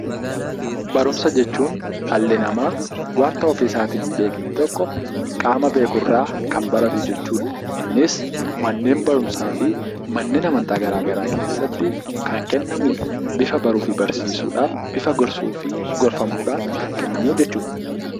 Barumsa jechuun dhalli namaa wanta ofii isaatii hin beekne tokko qaama beekurraa kan baratu jechuudha. Innis manneen barumsaa fi manneen amantaa garaagaraa keessatti kan kennamudha. Bifa baruu fi barsiisuudhaan bifa gorsuu fi gorfamuudhaan kan kennamu jechuudha.